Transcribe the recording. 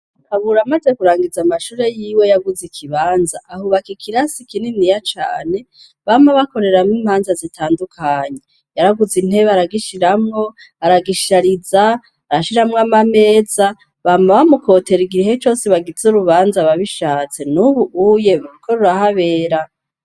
Kabura amaze kurangiza amashure y'iwe yaguze ikibanza, ahubaka ikirasi kininiya cane, bama bakoreramwo imanza zitandukanye. Yaraguze intebe aragishiramwo, aragishariza, arashiramwo amameza, bama bamukotera igihe cose bagize urubanza ababishatse. Nubu ruriko rurahabera.